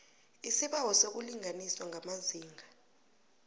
isibawo sokulinganiswa kwamazinga